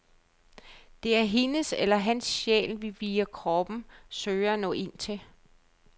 Det er hendes eller hans sjæl, vi via kroppen søger at nå ind til.